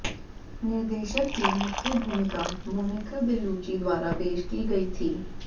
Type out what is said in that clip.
निर्देशक की मुख्य भूमिका मोनिका बेलुची द्वारा पेश की गई थी